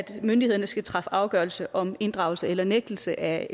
myndighederne skal træffe afgørelse om inddragelse eller nægtelse af